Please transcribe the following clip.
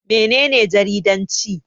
Mene ne jaridanci?